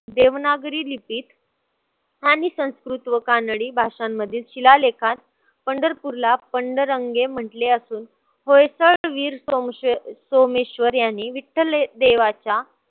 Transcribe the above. देवनागरी लिपीत आणि संस्कृत व कानडी भाषांमध्ये शिलालेखात पंढरपूरला पंडरंगे म्हंटले असून वयचळवीर सोमेश्वर याने विठ्ठल देवाच्या